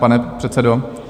Pane předsedo?